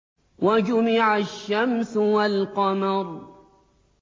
وَجُمِعَ الشَّمْسُ وَالْقَمَرُ